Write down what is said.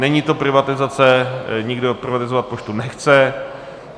Není to privatizace, nikdo privatizovat poštu nechce.